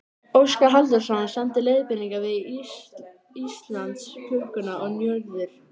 Óskar Halldórsson samdi leiðbeiningar við Íslandsklukkuna og Njörður